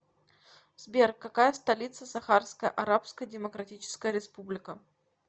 сбер какая столица сахарская арабская демократическая республика